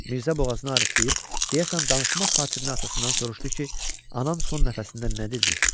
Mirzə boğazını arıtdıyıb, deyəsən, danışmaq xatirinə atasından soruşdu ki, anam son nəfəsində nə dedi?